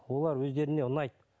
олар өздеріне ұнайды